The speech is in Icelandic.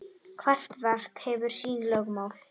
Hvert verk hefur sín lögmál.